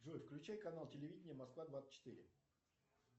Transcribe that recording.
джой включай канал телевидения москва двадцать четыре